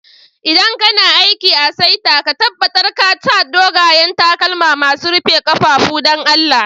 ldan kana aiki a'saita, ka tabatar ka sa dogayen takalma masun rufe kafafu, dan Allah.